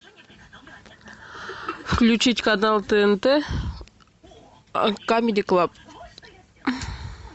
включить канал тнт камеди клаб